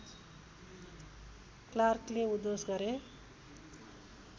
क्लार्कले उद्घोष गरे